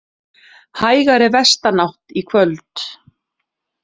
Hægari vestanátt í kvöld